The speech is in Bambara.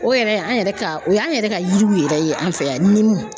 O yɛrɛ an yɛrɛ ka o y'an yɛrɛ ka yiriw yɛrɛ ye an fɛ yan ɲiminiw.